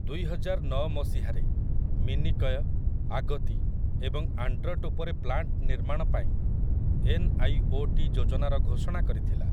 ଦୁଇହଜାରନଅ ମସିହାରେ, ମିନିକୟ, ଆଗତି ଏବଂ ଆଣ୍ଡ୍ରଟ୍ ଉପରେ ପ୍ଲାଣ୍ଟ୍ ନିର୍ମାଣପାଇଁ ଏନ୍ଆଇଓଟି ଯୋଜନାର ଘୋଷଣା କରିଥିଲା ।